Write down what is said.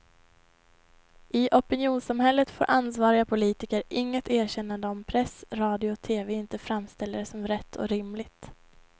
I opinionssamhället får ansvariga politiker inget erkännande om press, radio och tv inte framställer det som rätt och rimligt.